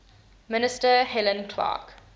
minister helen clark